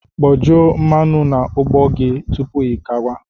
Kpajuo mmanụ na ụgbọ gị tupu ịkwaga!